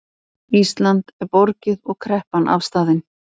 Íslandi er borgið og kreppan afstaðin